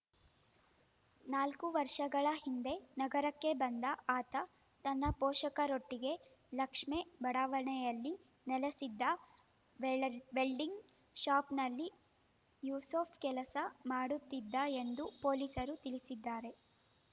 ನಾಲ್ಕು ವರ್ಷಗಳ ಹಿಂದೆ ನಗರಕ್ಕೆ ಬಂದ ಆತ ತನ್ನ ಪೋಷಕರೊಟ್ಟಿಗೆ ಲಕ್ಷ್ಮೇ ಬಡಾವಣೆಯಲ್ಲಿ ನೆಲೆಸಿದ್ದ ವೇಲಾ ವೆಲ್ಡಿಂಗ್‌ ಶಾಪ್‌ನಲ್ಲಿ ಯೂಸಫ್‌ ಕೆಲಸ ಮಾಡುತ್ತಿದ್ದ ಎಂದು ಪೊಲೀಸರು ತಿಳಿಸಿದ್ದಾರೆ